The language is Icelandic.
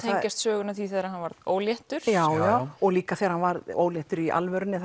tengjast sögunni af því þegar hann varð óléttur já og líka þegar hann varð óléttur í alvörunni